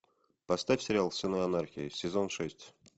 поставь сериал сыны анархии сезон шесть